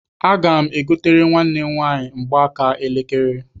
Aga m egotere nwanne m nwaanyị mgbaaka elekere.